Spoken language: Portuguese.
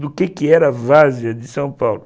do que que era a várzea de São Paulo.